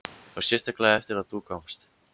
Og sérstaklega eftir að þú komst.